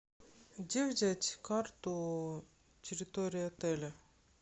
где взять карту территории отеля